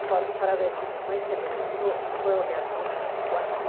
Para para ver se minha mãe se levantou e foi olhar nós no quarto.